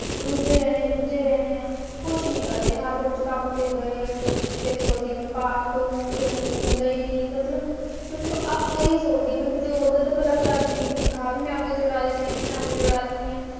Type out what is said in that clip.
ਰੁੱਝੇ ਰਹੇ ਨੇ ਰੋਂਦੇ ਰਹਿਣੈ ਖੁਸ਼ ਨਹੀਂ ਕਰਦੇ ਹਰ ਰੋਜ਼ ਕੰਮ ਤੇ ਗਏ ਫਿਰ ਫੌਜੀ ਨੂੰ ਹੋਂਦ ਹੈ ਨਹੀਂ ਮਤਲਬ ਵੱਖ-ਵੱਖ ਥਾਈਂ ਹੋਏ ਜੀ ਨੂੰ ਕਿਸੇ ਹੋਰ ਦਾ ਭਲਾ ਕਰਦੀ ਹੀ ਤਨਖ਼ਾਹੀਆ ਜੋੜਾਂ ਦੇ ਨਿਯਮ ਦੀ ਸਾਨੂੰ ਲੋੜ ਨੀ ਆ